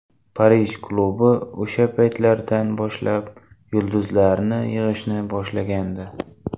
Parij klubi o‘sha paytlardan boshlab yulduzlarni yig‘ishni boshlagandi.